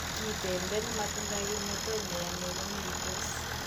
Kitendet ne matindoi kimnatet ne yamei ko meitos